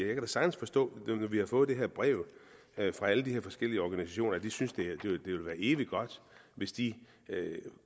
jeg kan sagtens forstå nu når vi har fået det her brev fra alle de forskellige organisationer at de synes det ville være evig godt hvis de